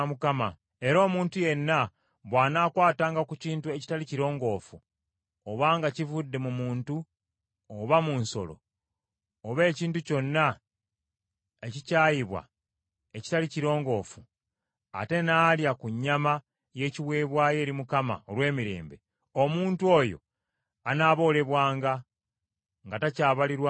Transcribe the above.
Era omuntu yenna bw’anaakwatanga ku kintu ekitali kirongoofu, obanga kivudde mu muntu oba mu nsolo, oba ekintu kyonna ekikyayibwa ekitali kirongoofu, ate n’alya ku nnyama y’ekiweebwayo eri Mukama olw’emirembe, omuntu oyo anaaboolebwanga, nga takyabalirwa mu bantu be.’ ”